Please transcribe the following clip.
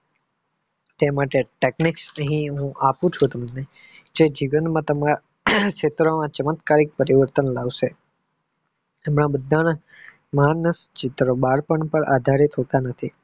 તે માટે technic છે એ હું આપું છું તમને જે જીવનમાં તમારા ક્ષેત્ર માં ચમત્કારી પરિવર્તન લાવશે અને બધા ના ચિત્રો બાળપણ પાર આધારિત હોતા નથી.